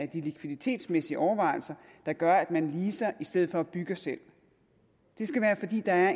de likviditetsmæssige overvejelser der gør at man leaser i stedet for at bygge selv det skal være fordi det er